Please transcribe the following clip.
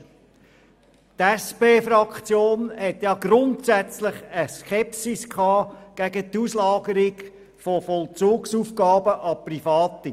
Die SP-JUSO-PSA-Fraktion hegte eine grundsätzliche Skepsis gegenüber der Auslagerung von Vollzugsaufgaben an Private.